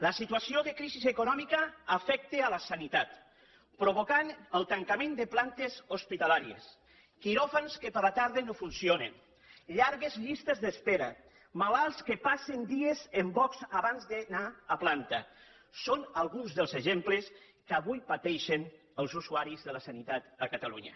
la situació de crisi econòmica afecta la sanitat i provoca el tancament de plantes hospitalàries quiròfans que a la tarda no funcionen llargues llistes d’espera malalts que passen dies en boxs abans d’anar a planta són alguns dels exemples que avui pateixen els usuaris de la sanitat a catalunya